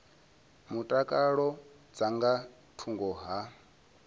mutakalo dza nga thungo ha